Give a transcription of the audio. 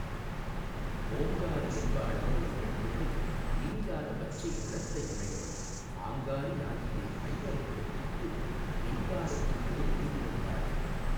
ஓங்காரி என்பாளவளொரு பெண்பிள்ளை நீங்காத பச்சை நிறத்தையுடையவள் ஆங்காரியாகியே ஐவரைப் பெற்றிட்டு ரீங்காரத்துள்ளே யினிதிருந்தாளே.